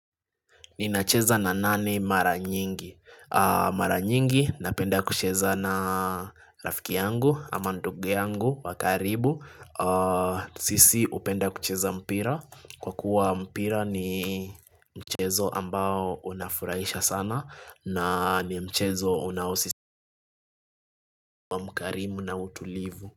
Ninacheza na nani mara nyingi? Mara nyingi napenda kucheza na rafiki yangu, ama ndugu yangu, wa karibu. Sisi upenda kucheza mpira. Kwa kuwa mpira ni mchezo ambao unafurahisha sana na ni mchezo unaosisi mkarimu na utulivu.